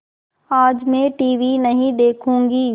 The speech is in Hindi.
आज मैं टीवी नहीं देखूँगी